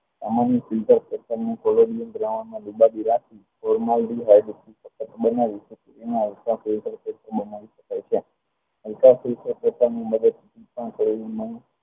સોલારની દ્રાવણમાં જુદા જુદા